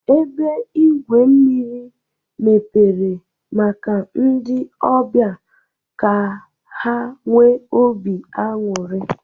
Ebe igwu mmiri mepere maka ndị ọbịa ka ha nwee ọbi anuri.